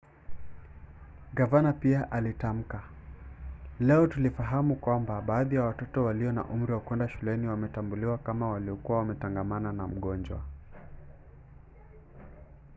gavana pia alitamka leo tulifahamu kwamba baadhi ya watoto walio na umri wa kwenda shuleni wametambuliwa kama waliokuwa wametangamana na mgonjwa.